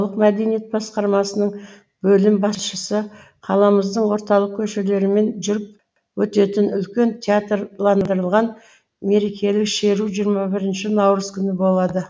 мәдениет басқармасының бөлім басшысы қаламыздың орталық көшелерімен жүріп өтетін үлкен театрландырылған мерекелік шеру жиырма бірінші наурыз күні болады